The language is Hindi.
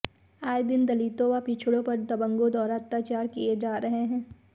आए दिन दलितों व पिछड़ों पर दबंगों द्वारा अत्याचार किए जा रहे हैं